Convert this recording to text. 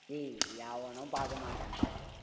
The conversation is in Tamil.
ஏய் எவனும் பார்க்க மாட்டானுங்க.